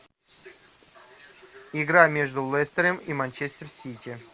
игра между лестером и манчестер сити